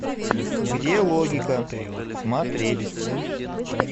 где логика смотреть